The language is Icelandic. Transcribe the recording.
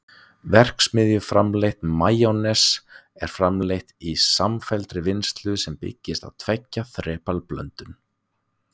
verksmiðjuframleitt majónes er framleitt í samfelldri vinnslu sem byggist á tveggja þrepa blöndun